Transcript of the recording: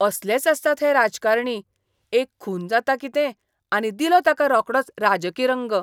असलेच आसतात हे राजकारणी. एक खून जाता कितें आनी दिलो ताका रोकडोच राजकी रंग!